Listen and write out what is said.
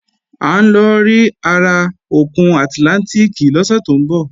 À ń lọ rí ara òkun àtlántìkì lọ́sẹ̀ tó ń bọ̀